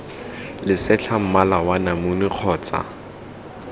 lesetlha mmala wa namune kgotsa